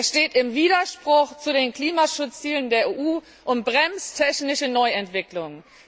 Er steht im Widerspruch zu den Klimaschutzzielen der EU und bremst technische Neuentwicklungen.